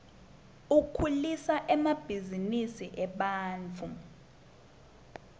ukhulisa emabhzinisi ebantfu